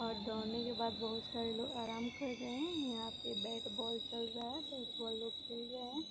और दौड़ने के बाद बहुत सारे लोग आराम कर रहे हैं यहाँ पे बैट बॉल चल रहा हैं बेट बॉल लोग खेल रहे हैं।